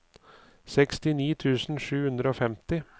sekstini tusen sju hundre og femti